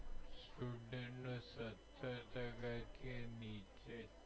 નીચે